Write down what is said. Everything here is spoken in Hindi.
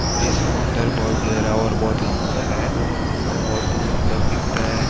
और यह समुंदर बहुत गहरा और बहुत लंबा है बहुत दूर तक दिखता है ।